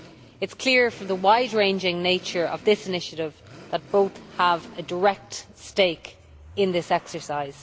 It is clear from the wide ranging nature of this initiative that both have a direct stake in this exercise.